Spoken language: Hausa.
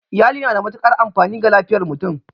Iyali na da matuƙar amfani ga lafiyar mutum